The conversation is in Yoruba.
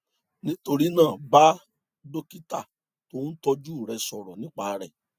nítorí náà bá dókítà tó ń tọjú rẹ sọrọ nípa rẹ